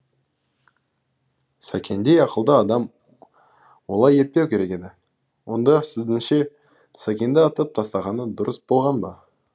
сәкендей ақылды адам олай етпеу керек еді онда сіздіңше сәкенді атып тастағаны дұрыс болған ба